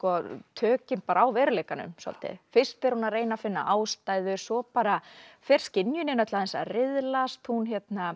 tökin bara á veruleikanum svolítið fyrst er hún að reyna að finna ástæðu svo bara fer skynjunin öll aðeins að riðlast hún